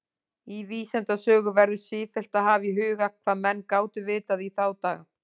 Í vísindasögu verður sífellt að hafa í huga, hvað menn gátu vitað í þá daga.